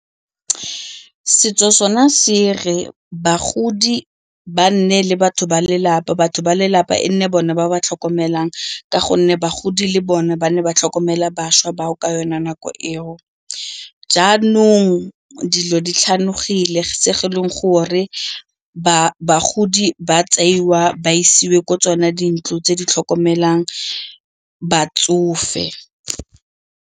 Setso sona se re bagodi ba nne le batho ba lelapa, batho ba lelapa e nne bone ba ba tlhokomelang ka gonne bagodi le bone ba ne ba tlhokomela bašwa bao ka yone nako eo. Naanong dilo di tlhanogile se e leng gore bagodi ba tseiwa ba isiwa ko tsone dintlo tse di tlhokomelang batsofe.